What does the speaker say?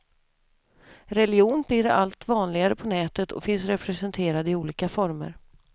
Religion blir alltså allt vanligare på nätet och finns representerad i olika former.